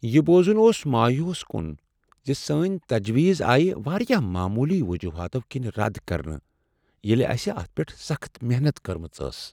یہ بوزن اوس مایوس کن ز سٲنۍ تجویز آیہ واریاہ معمولی وجوہاتو کِنۍ رد کرنہٕ ییٚلہ اسہ اتھ پیٹھ سخت محنت کٔرٕمٕژ ٲس۔